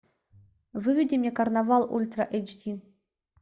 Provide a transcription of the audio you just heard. выведи мне карнавал ультра эйч ди